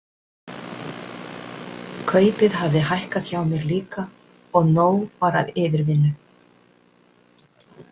Kaupið hafði hækkað hjá mér líka og nóg var af yfirvinnu.